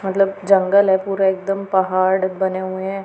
मतलब जंगल है पूरा एकदम पहाड़ बने हुएं हैं।